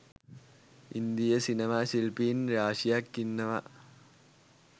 ඉන්දීය සිනමා ශිල්පීන් රාශියක් ඉන්නව